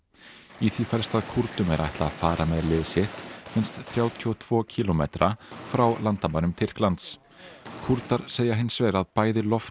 í því felst að Kúrdum er ætlað að fara með lið sitt minnst þrjátíu og tveggja kílómetra frá landamærum Tyrklands Kúrdar segja hins vegar að bæði loft